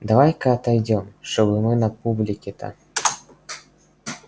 давай-ка отойдём что мы на публике-то